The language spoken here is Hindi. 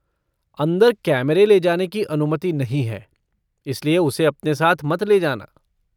अंदर कैमरे ले जाने की अनुमति नहीं है इसलिए उसे अपने साथ मत ले जाना।